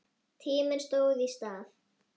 Tíminn stóð í stað.